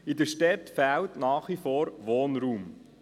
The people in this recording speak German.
In den Städten fehlt nach wie vor Wohnraum.